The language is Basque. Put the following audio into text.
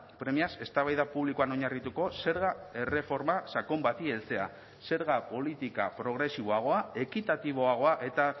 premiaz eztabaida publikoan oinarrituko zerga erreforma sakon bati heltzea zerga politika progresiboagoa ekitatiboagoa eta